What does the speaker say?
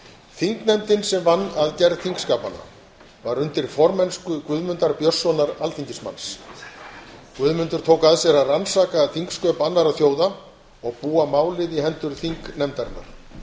þingnefndin sem vann að gerð þingskapanna var undir formennsku guðmundar björnsonar alþingismanns guðmundur tók að sér að rannsaka þingsköp annarra þjóða og búa málið í hendur þingnefndarinnar